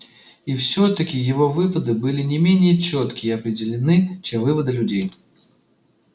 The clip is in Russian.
и все таки его выводы были не менее чётки и определённы чем выводы людей